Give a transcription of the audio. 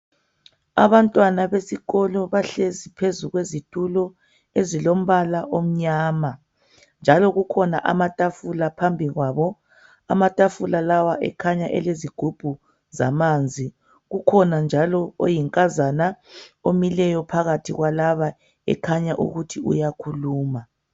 Abantwana besikolo bahlezi phezu kwezitulo ezilombala omnyama njalo kukhona amatafula phambi kwabo. Amatafula lawa akhanya elezigubhu zamanzi kukhona njalo oyinkazana omileyo phakathi kwalaba ekhanya ukuthi uyakhuluma